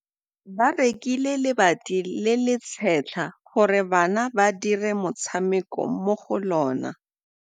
Ba rekile lebati le le setlha gore bana ba dire motshameko mo go lona.